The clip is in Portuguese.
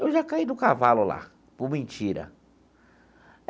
Eu já caí do cavalo lá, por mentira.